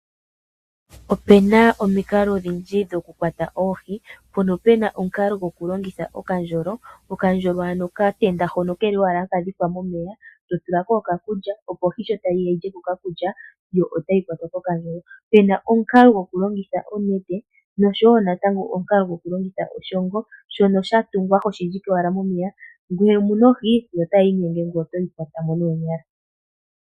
Opena omikalo odhindji dhokukwata oohi mpono pena omukalo gwokulongitha okandjolo. Okandjolo ano okatenda hoka haka dhikwa momeya to tulako okakulya opo ihe ohi shotayi yaya yilyeko okakulya yotayi kwatwa kokandjolo, pena omukalo gwokulongitha onete nosho woo omukalo gwokulongitha oshoongo shono shatungwa hoshi dhike owala momeya ngele omuna ohi yo otayi inyenge ngoye toyi kwatamo noonyala.